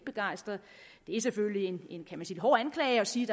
er selvfølgelig en hård anklage at sige